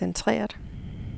centreret